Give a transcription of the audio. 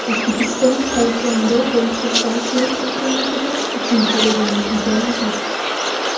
O‘zbekiston taekvondo bo‘yicha Osiyo chempionatida uchinchi o‘rinni egalladi.